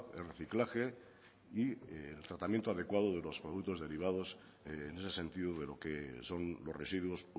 el reciclaje y el tratamiento adecuado de los productos derivados en ese sentido de lo que son los residuos